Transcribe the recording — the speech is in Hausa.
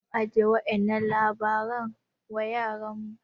mu ajiye wa'yannan labaran wa yaranmu